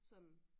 Sådan